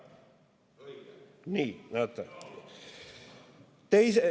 Nii, näete.